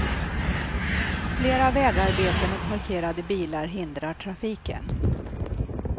Flera vägarbeten och parkerade bilar hindrar trafiken.